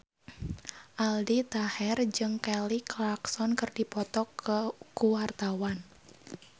Aldi Taher jeung Kelly Clarkson keur dipoto ku wartawan